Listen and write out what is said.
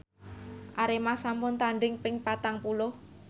Arema sampun tandhing ping patang puluh